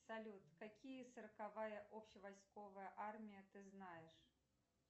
салют какие сороковая общевойсковая армия ты знаешь